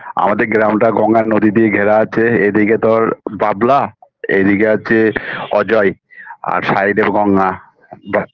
আমাদের গ্রামটা গঙ্গা নদী দিয়ে ঘেরা আছে এদিকে তোর বাবলা এদিকে আছে অজয় আর side -এ গঙ্গা ব্যস